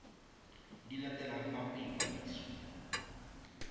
di latelang fa go ikwadisiwa